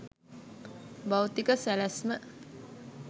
භෞතික සැලැස්ම